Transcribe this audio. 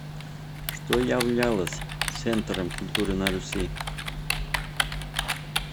что являлось центром культуры на руси